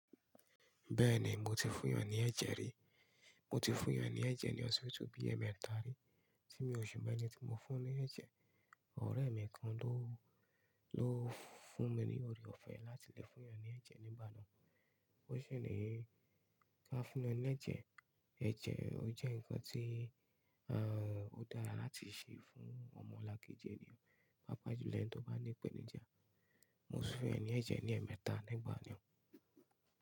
Bẹ́ẹ̀ni, mo ti fún eyàn ní ẹ̀jẹ̀ rí. Mo ti fún eyàn ní ẹ̀jẹ̀ ní ọsibitu bí ẹmẹta rí. Tí mi òṣi mo eni ti mo fún-un ní ẹ̀jẹ̀, ọ̀rẹ́ mi kan ló, ló fún mi ní oore-ọ̀fẹ́ láti lo fún eyàn ní ẹ̀jẹ̀ nígbà náà. Ó ṣi ní ka fún eyàn ní ẹ̀jẹ̀. Ẹ̀jẹ̀ ọ jẹ́ nǹkan tí, a, ó dára láti ṣe fún ọmọlàkejì ènìyàn. Pàápàá jùlọ ẹni tó bá ní ipẹ́nijà. Mo sì fún eeyan ní ẹ̀jẹ̀ ní ẹmẹta legbàn mi.